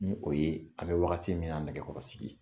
Ni o ye an bɛ wagati min na nɛgɛkɔrɔ sigi